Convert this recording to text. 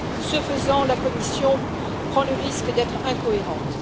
Ce faisant, la Commission prend le risque d'être incohérente.